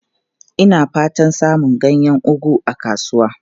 Ina fatan samun ganyen ugu a kasuwa.